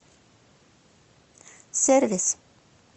сервис